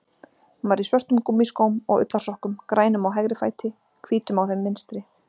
Hún var í svörtum gúmmískóm og ullarsokkum, grænum á hægri fæti, hvítum á þeim vinstri.